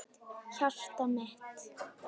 Hjartað mitt,